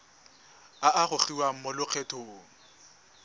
a a gogiwang mo lokgethong